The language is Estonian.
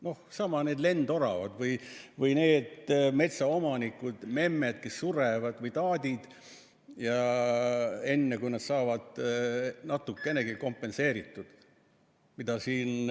Needsamad lendoravad või metsaomanikud, memmed või taadid, kes surevad enne, kui nad saavad natukenegi kompensatsiooni.